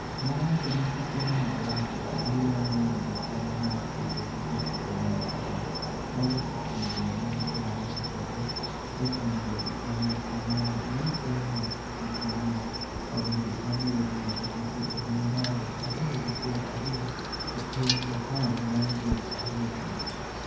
Nowacho ni tuke mag Russia biro miyogi thuolo mar kedo gi jotugo mag adhong' mawuok e pinje mag Ulaya koda e pinje mamoko mondo giikre ne tuke mag Olimpik ma biro timore Tokyo e higa mar aluf ariyo gi piero ariyo e piny Japan bang' dweche ariyo gi nus.